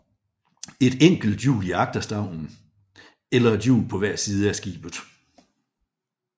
Et enkelt hjul i agterstavnen eller et hjul på hver side af skibet